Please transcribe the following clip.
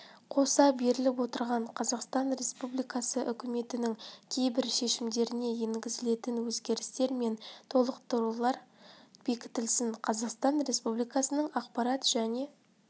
қоса беріліп отырған қазақстан республикасы үкіметінің кейбір шешімдеріне енгізілетін өзгерістер мен толықтырулар бекітілсін қазақстан республикасының ақпарат және